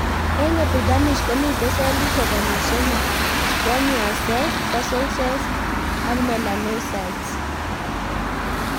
Eng' epidermis komitei selishek konyil somok: squamous cells, basal cells, ak melanocytes.